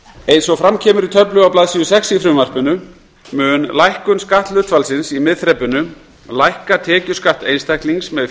eins og fram kemur í töflu á blaðsíðu sex í frumvarpinu mun lækkun skatthlutfallsins í miðþrepinu lækka tekjuskatt einstaklings með